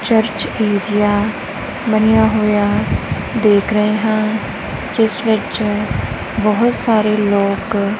Church ਜੇਆ ਬਣਿਆ ਹੋਇਆ ਦੇਖ ਰਹੇ ਹਾਂ ਜਿਸ ਵਿੱਚ ਬਹੁਤ ਸਾਰੇ ਲੋਕ।